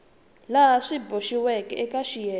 laha swi boxiweke eka xiyenge